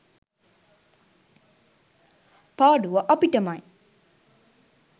පාඩුව අපිටමයි.